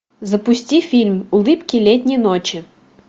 запусти фильм улыбки летней ночи